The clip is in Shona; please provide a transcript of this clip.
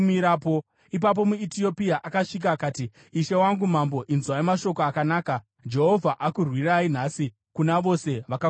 Ipapo muEtiopia akasvika akati, “Ishe wangu mambo, inzwai mashoko akanaka! Jehovha akurwirai nhasi kuna vose vakakumukirai.”